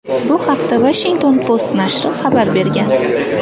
Bu haqda Washington Post nashri xabar bergan .